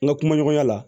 N ka kumaɲɔgɔnya la